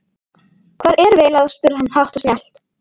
Hvar erum við eiginlega spurði hann hátt og snjallt.